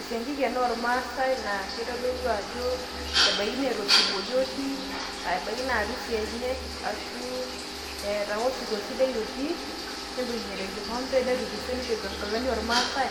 esiankiki ena oormaasai naa kitodolu ajo ebaiki naa eeta osirua otii, ashu ebaiki naa arusi enye etii, aashu eeta ake osirua sidai otii, nibun'ita enkikompe, netukuse eishopito irkarash loormaasae.